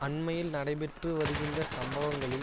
அண்மையில் நடைபெற்று வருகின்ற சம்பவங்களில்